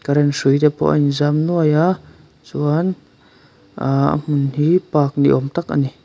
current hrui te pawh a inzam nuai a chuan ahh a hmun hi park ni awm tak a ni.